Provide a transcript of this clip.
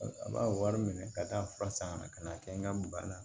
A b'a wari minɛ ka taa fura san ka na ka n'a kɛ n ka bana